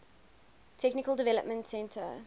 technical development center